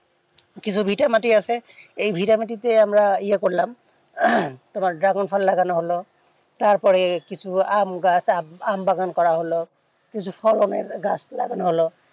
কিছু ভিটে মাটি আছে এই ভিটে মাটিতে আমরা ইয়ে করলাম dragon ফল লাগানো হলো তারপরে কিছু আমি গাছ আমি বাগান করা হলো কিছু ফলমূলের গাছ লাগানো হলো